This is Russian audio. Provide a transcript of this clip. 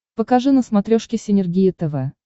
покажи на смотрешке синергия тв